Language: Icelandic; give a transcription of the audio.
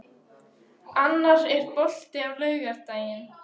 Annar, er bolti á laugardaginn?